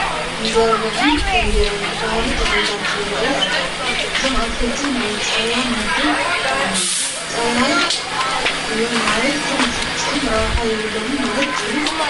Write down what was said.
መዘርባዕን ደንዴርን ዝበሃሉ ተኽልታት ይርአዩ ኣለዉ፡፡ እዞም ኣትክልቲ ናይ ፃህያይ ምድብ እዮም፡፡ ፃህያይ እዮም ማለት ግን ፍፁም ረብሓ የብሎምን ማለት ድዩ?